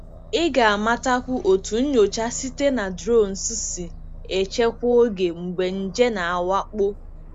Ị ga-amatakwu otú nyocha site na drones si echekwa oge mgbe nje na-awakpo.